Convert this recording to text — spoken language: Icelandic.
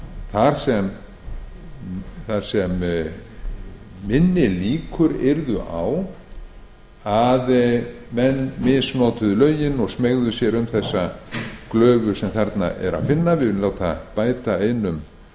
á áfengislögunum til að minni líkur verði á að menn misnoti lögin og smeygi sér um glufuna sem þar er að finna við viljum láta bæta einum